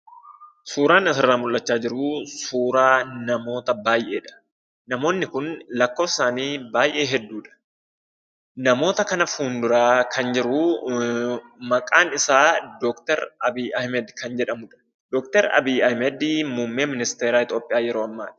Suuraan asirraa mul'achaa jiruu suuraa namoota baay'eedha. Namoonni kun lakkoofsi isaanii baay'ee hedduudha. Namoota kana fuulduraa kan jiruu maqaan isaa Dookter Abiy Ahmed kan jedhamudha. Dookter Abiy Ahmed muummee ministeera Itoophiyaa yeroo ammaati.